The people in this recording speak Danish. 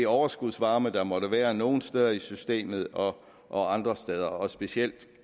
overskudsvarme der måtte være nogle steder i systemet og og andre steder og specielt